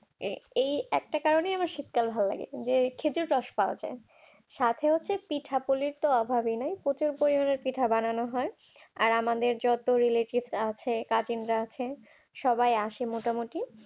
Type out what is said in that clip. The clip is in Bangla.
এই একটা কারণে শীতকাল আমার ভালো লাগে যে খেজুর গাছ পাওয়া যায় সাথে হচ্ছে পিঠাপোলির অভাব নাই প্রচন্ড পরিমান বানানো হয় আর আমাদের যত আছে সবাই আছে মোটামুটি